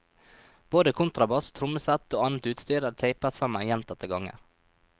Både kontrabass, trommesett og annet utstyr er tapet sammen gjentatte ganger.